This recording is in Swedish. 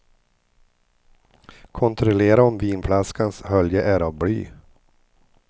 Kontrollera om vinflaskans hölje är av bly.